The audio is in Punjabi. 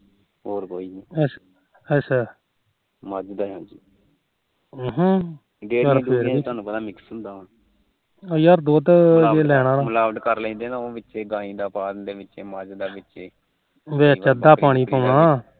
ਵਿੱਚ ਅੱਧਾ ਪਾਣੀ ਪਾਉਣਾ